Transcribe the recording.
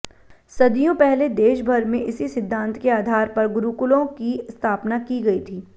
सदियों पहले देशभर में इसी सिद्धांत के आधार पर गुरुकुलों की स्थापना की गई थी